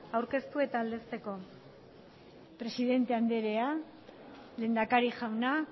aurkeztu eta aldezteko presidenta andrea lehendakari jauna